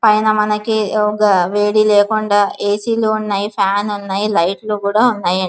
పైన మనకి వేడి లేకుండా ఏసీ లు ఉన్నాయి. ఫ్యాన్ ఉన్నాయి. లైట్లు కూడా ఉన్నాయి అం --